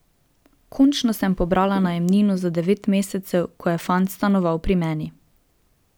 Končno sem pobrala najemnino za devet mesecev, ko je fant stanoval pri meni.